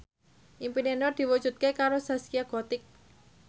impine Nur diwujudke karo Zaskia Gotik